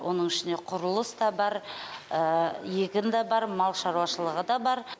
оның ішіне құрылыс та бар егін да бар мал шаруашылығы да бар